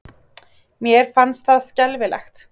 Mér fannst það skelfilegt.